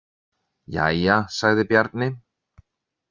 Jæja, sagði Bjarni.